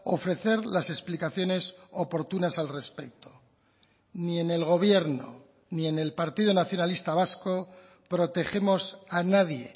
ofrecer las explicaciones oportunas al respecto ni en el gobierno ni en el partido nacionalista vasco protegemos a nadie